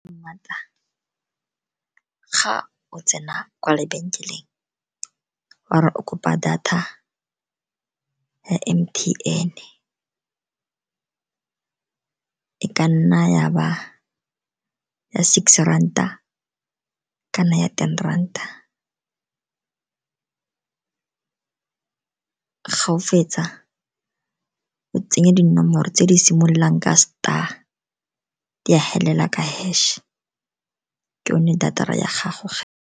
Ga o tsena kwa lebenkeleng, o re kopa data ya M_T_N, e ka nna ya ba six ranta, e ka nna ya ten ranta. Ga o fetsa o tsenya dinomoro tse di simololang ka star, di felela ka hash, ke yone data-ra ya gago.